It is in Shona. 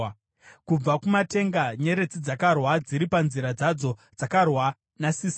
Kubva kumatenga nyeredzi dzakarwa, dziri panzira dzadzo dzakarwa naSisera.